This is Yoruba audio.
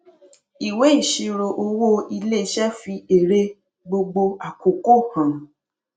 ìwé ìṣirò owó iléiṣẹ fi èrè gbogbo àkókò hàn